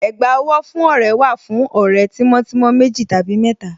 Ẹ̀gbá owó fún ọ̀rẹ́ wà fún ọ̀rẹ́ tímọ́ tímọ́ méjì tàbí mẹ́ta.